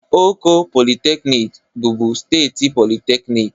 Oko Polytechnic bụbu steeti polytechnic